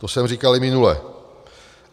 To jsem říkal i minule.